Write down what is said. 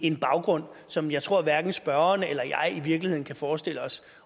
en baggrund som jeg tror hverken spørgeren eller jeg i virkeligheden kan forestille os